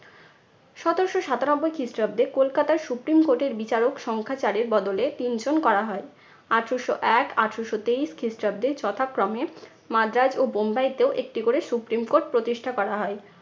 সতেরশো সাতানব্বই খ্রিস্টাব্দে কলকাতায় supreme court এর বিচারক সংখ্যা চার এর বদলে তিনজন করা হয়। আঠারশো এক আঠারশো তেইশ খ্রিস্টাব্দে যথাক্রমে মাদ্রাজ ও বোম্বাই তেও একটি করে supreme court প্রতিষ্ঠা করা হয়।